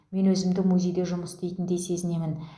мен өзімді музейде жұмыс істейтіндей сезінемін